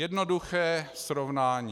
Jednoduché srovnání.